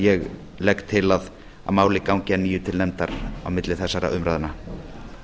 ég legg til að málið gangi að nýju til nefndar á milli þessara umræðna